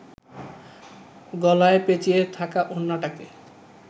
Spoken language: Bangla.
গলায় পেঁচিয়ে থাকা ওড়নাটাকে